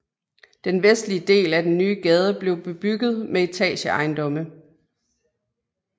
Den vestlige del af den nye gade blev bebygget med etageejendomme